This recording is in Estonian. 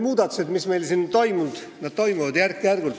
Muudatused, mis toimuvad, need toimuvad järk-järgult.